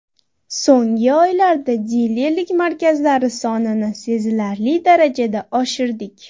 So‘nggi oylarda dilerlik markazlari sonini sezilarli darajada oshirdik.